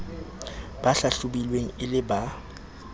ba hlahlobilweng e le ba